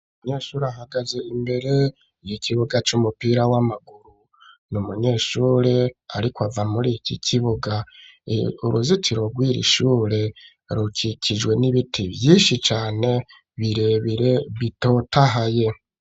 Umunyeshuri ahagaze imbere yikibuga c'umupira w'amaguru, n'umunyeshure ariko ava mur'iki kibuga ,uruzitiro rwiri shure rukikijwe n'ibiti vyinshi cane birebire bitotahaye.